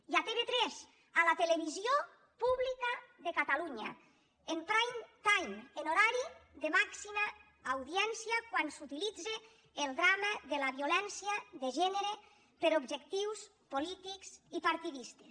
i a tv3 a la televisió pública de catalunya en prime timeaudiència quan s’utilitza el drama de la violència de gènere per a objectius polítics i partidistes